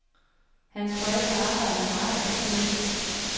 Hans forældre arbejder meget og sent.